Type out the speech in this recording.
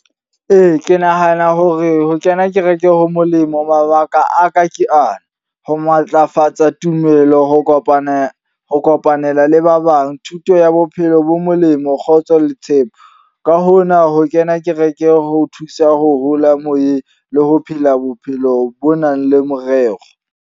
Ee, ke nahana hore ho kena kereke ho molemo. Mabaka a ka ke ana, ho matlafatsa tumelo, ho kopanela ho kopanela le ba bang. Thuto ya bophelo bo molemo, kgotso le tshepo. Ka hona ho kena kereke ho o thusa ho hola moyeng. Le ho phela bophelo bo nang le morero.